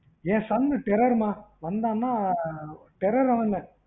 என் sound terror மா வந்தான்னா terror ஆவாங்க.